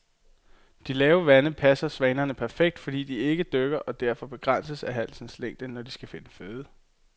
De lave vande passer svanerne perfekt, fordi de ikke dykker og derfor begrænses af halsens længde, når de skal finde føde.